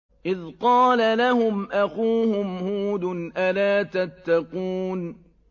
إِذْ قَالَ لَهُمْ أَخُوهُمْ هُودٌ أَلَا تَتَّقُونَ